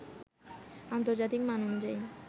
আন্তর্জাতিক মান অনুযায়ী